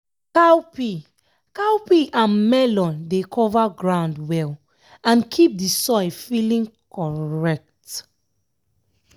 cowpea cowpea and melon dey cover ground well and keep the soil feeling correct.